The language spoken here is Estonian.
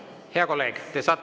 Hea kolleeg!